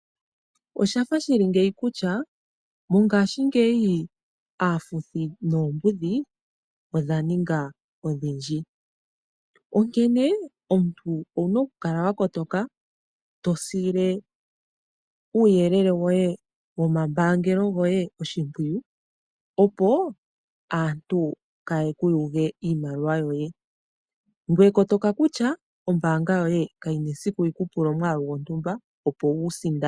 Oshafa shili ngeyi kutya mongaashingeyi aafuthi noombudhi odha ninga odhindji onkene, omuntu owu na oku kala wa kotoka to sile uuyelele woye womambaangelo goye oshimpwiyu opo aantu kaaye ku yuge iimaliwa yoye. Ngoye kotoka kutya ombaanga yoye kayina esiku yi ku pule omwaalu gwontumba opo wu sindane.